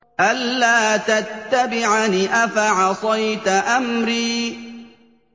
أَلَّا تَتَّبِعَنِ ۖ أَفَعَصَيْتَ أَمْرِي